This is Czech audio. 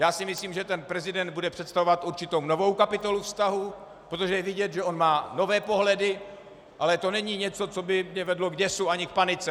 Já si myslím, že ten prezident bude představovat určitou novou kapitolu vztahů, protože je vidět, že on má nové pohledy, ale to není něco, co by mě vedlo k děsu ani k panice.